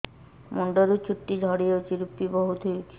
ମୁଣ୍ଡରୁ ଚୁଟି ଝଡି ଯାଉଛି ଋପି ବହୁତ ହେଉଛି